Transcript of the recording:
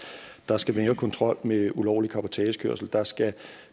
der skal mere kontrol med ulovlig cabotagekørsel der skal